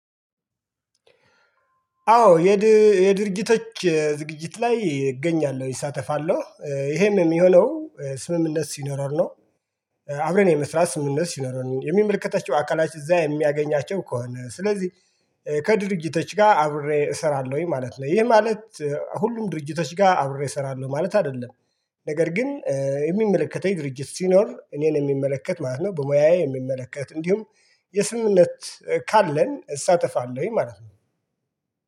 አዎ የድርጅቶች ዝግጅት ላይ እገኛለሁ እሳተፋለሁ ይሄም የሚሆነው ስምምነት ሲኖረን ነው። አብረን የመስራት ስምምነት ሲኖረን የሚመልከተችው አካላችን እዛ የሚያገኛቸው ከሆነ ስለዚህ። ከድርጅቶች ጋር አብሬ እሰራለሁኝ ማለት ነው ይሄ ማለት ሁሉም ድርጅቶች ጋር አብሬ እሰራለሁ ማለት አይደለም። ነገር ግን የሚመለከተኝ ድርጅት ሲኖር እኔን የሚመለከት ማለት ነው። በሙያዬ የሚመለከት እንዲሁም የስምምነት ካለን እሳተፋለሁኝ ማለት ነው።